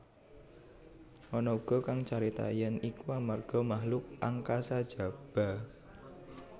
Ana uga kang carita yèn iku amarga makhluk angkasa jaba